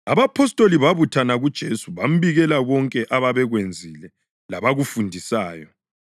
Abapostoli babuthana kuJesu bambikela konke ababekwenzile labakufundisayo.